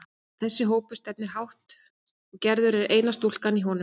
Þessi hópur stefnir hátt, og Gerður er eina stúlkan í honum.